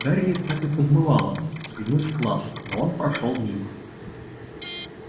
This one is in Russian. гарри так и подмывало заглянуть в класс но он прошёл мимо